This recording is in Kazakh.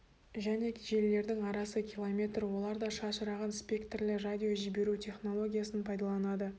және желілерінің арасы километр олар да шашыраған спектрлі радиожіберу технологиясын пайдаланады